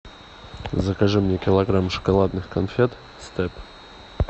закажи мне килограмм шоколадных конфет степ